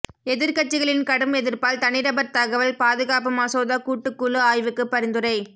எதிர்க்கட்சிகளின் கடும் எதிர்ப்பால் தனிநபர் தகவல் பாதுகாப்பு மசோதா கூட்டுக்குழு ஆய்வுக்கு பரிந்துரை